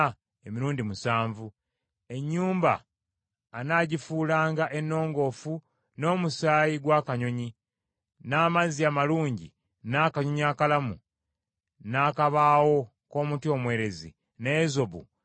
Ennyumba anaagifuulanga ennongoofu n’omusaayi gw’akanyonyi, n’amazzi amalungi, n’akanyonyi akalamu, n’akabaawo k’omuti omwerezi, n’ezobu n’ekiwero ekimyufu.